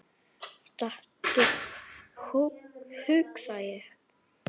Stattu, hugsa ég.